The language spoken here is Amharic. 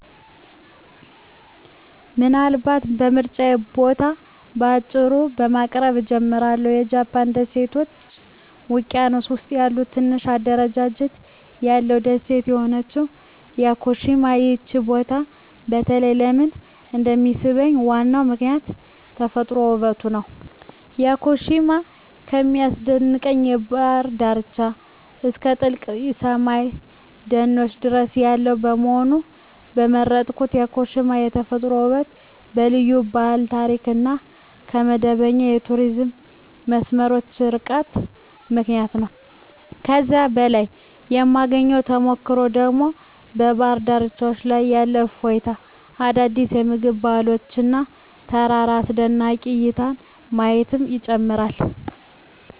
ምናልባት የምርጫዬን ቦታ በአጭሩ በማቅረብ እጀምራለሁ -የጃፓን ደሴቶች ውቅያኖስ ውስጥ ያለ ትንሽ አደረጃጀት ያለው ደሴት የሆነችው ያኮሺማ። ይህ ቦታ በተለይ ለምን እንደሚሳብኝ ዋናው ምክንያት የተፈጥሮ ውበቱ ነው። ያኮሺማ ከሚያስደንቅ የባህር ዳርቻዎች እስከ ጥልቅ ሰላማዊ ደኖች ድረስ ያለው በመሆኑ። የመረጥኩት ያኮሺማ በተፈጥሯዊ ውበቷ፣ በልዩ ባህላዊ ታሪክ እና ከመደበኛ የቱሪስት መስመሮች ርቃታ ምክንያት ነው። እዚያ ላይ የማግኘት ተሞክሮ ደግሞ በባህር ዳርቻዎች ላይ ያለ እፎይታ፣ አዳዲስ የምግብ ባህሎች እና የተራራ አስደናቂ እይታዎችን ማየት ይጨምራል።